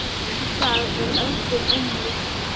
Í dag er öldin önnur.